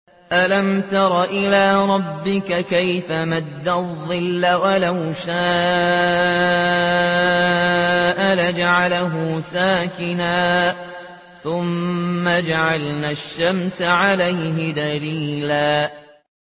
أَلَمْ تَرَ إِلَىٰ رَبِّكَ كَيْفَ مَدَّ الظِّلَّ وَلَوْ شَاءَ لَجَعَلَهُ سَاكِنًا ثُمَّ جَعَلْنَا الشَّمْسَ عَلَيْهِ دَلِيلًا